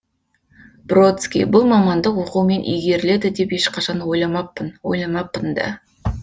бродский бұл мамандық оқумен игеріледі деп ешқашан ойламаппын ойламаппын да